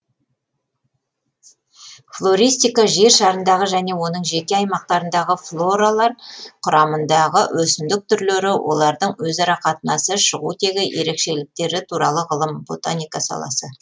флористика жер шарындағы және оның жеке аймақтарындағы флоралар құрамындағы өсімдік түрлері олардың өзара қатынасы шығу тегі ерекшеліктері туралы ғылым ботаника саласы